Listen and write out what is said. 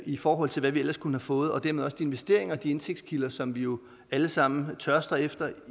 i forhold til hvad vi ellers kunne have fået og dermed også de investeringer og de indtægtskilder som vi jo alle sammen tørster efter